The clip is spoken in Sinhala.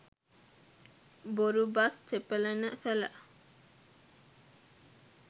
බොරු බස් තෙපලන කළ